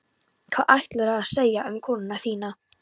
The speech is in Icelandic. Hvað ætlaðirðu að segja um konuna þína?